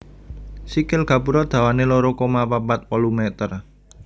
Sikil gapura dhawané loro koma papat wolu meter